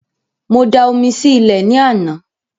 Mo da omi sí ilẹ̀ ní àná